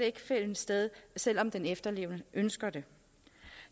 ikke finde sted selv om den efterlevende ønsker det